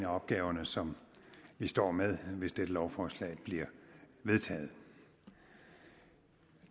opgaver som vi står med hvis dette lovforslag bliver vedtaget